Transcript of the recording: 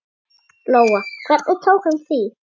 Lóa: Hvernig tók hann því?